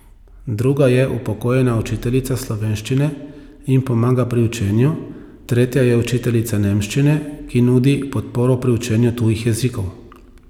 Druga je upokojena učiteljica slovenščine in pomaga pri učenju, tretja je učiteljica nemščine, ki nudi podporo pri učenju tujih jezikov ...